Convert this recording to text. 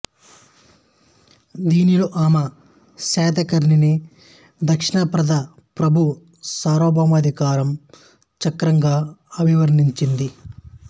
దీనిలో ఆమె శాతకర్ణిని దక్షిణపథ ప్రభువు సార్వభౌమాధికారం చక్రం గా అభివర్ణించింది